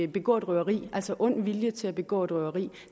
begå røveri altså ond vilje til at begå et røveri